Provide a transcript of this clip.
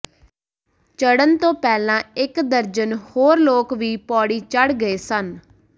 ਚੜ੍ਹਨ ਤੋਂ ਪਹਿਲਾਂ ਇਕ ਦਰਜਨ ਹੋਰ ਲੋਕ ਵੀ ਪੌੜੀ ਚੜ੍ਹ ਗਏ ਸਨ